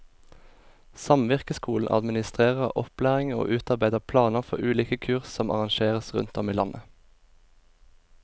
Samvirkeskolen administrerer opplæring og utarbeider planer for ulike kurs som arrangeres rundt om i landet.